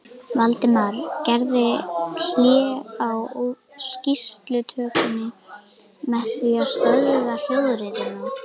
Valdimar gerði hlé á skýrslutökunni með því að stöðva hljóðritunina.